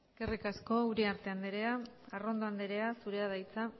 eskerrik asko uriarte andrea arrondo andrea zurea da hitza